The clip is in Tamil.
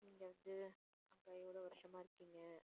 நீங்க வந்து அங்க எவ்வளவு வருஷமா இருக்கீங்க